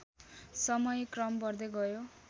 समयक्रम बढ्दै गयो